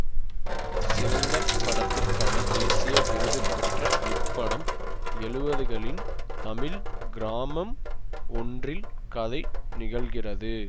சிறந்த படத்துக்கான தேசிய விருதுபெற்றது இப்படம் எழுவதுகளின் தமிழ் கிராமம் ஒன்றில் கதை நிகழ்கிறது